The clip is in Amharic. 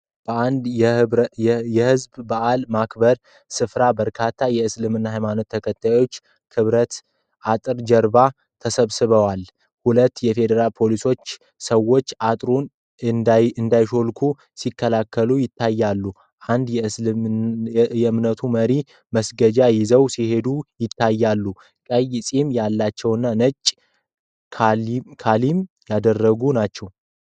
በአንድ የህዝብ በዓላት ማክበርያ ስፍራ በርካታ የእስልምና ሃይማኖት ተከታዮች ከብረት አጥር ጀርባ ተሰብስበዋል። ሁለት የፌደራል ፖሊሶች ሰዎቹ አጥሩን እንዳይሾልኩ ሲከላከሉ ይታያሉ። አንድ የእምነቱ መሪ መስገጃ ይዘው ሲሄዱ ይታያሉ። ቀይ ጺም ያላቸውና ነጭ ካሊም ያደረጉ ናቸው።